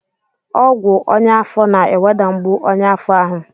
Ọgwụ ọnyá afọ na-eweda mgbu ọnyá afọ ahụ.